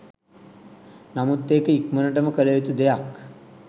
නමුත් ඒක ඉක්මනටම කළ යුතු දෙයක්